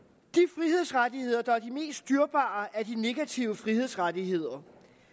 mest dyrebare er de negative frihedsrettigheder